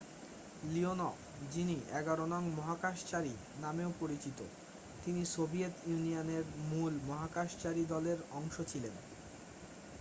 "Leonov যিনি "১১ নং মহাকাশচারী নামেও পরিচিত তিনি সোভিয়েত ইউনিয়নের মূল মহাকাশচারী দলের অংশ ছিলেন।